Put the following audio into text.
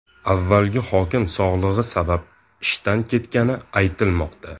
Avvalgi hokim sog‘lig‘i sabab ishdan ketgani aytilmoqda.